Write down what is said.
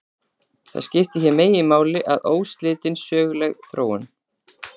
Það sem skiptir hér meginmáli er óslitin söguleg þróun.